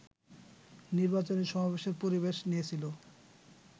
নির্বাচনী সমাবেশের পরিবেশ নিয়েছিল